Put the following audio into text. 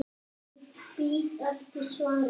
Ég bíð eftir svari.